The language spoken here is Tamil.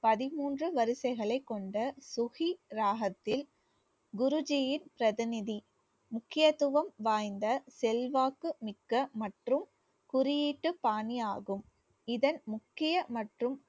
பதிமூன்று வரிசைகளைக் கொண்ட சுகி ராகத்தில் குருஜியின் பிரதிநிதி முக்கியத்துவம் வாய்ந்த செல்வாக்கு மிக்க மற்றும் குறியீட்டுப் பாணி ஆகும். இதன் முக்கிய மற்றும்